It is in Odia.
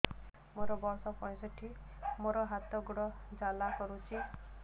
ମୋର ବର୍ଷ ପଞ୍ଚଷଠି ମୋର ହାତ ଗୋଡ଼ ଜାଲା କରୁଛି